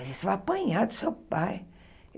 Você vai apanhar do seu pai.